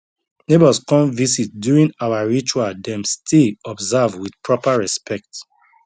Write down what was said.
neighbors come visit during our ritual dem stay observe with proper respect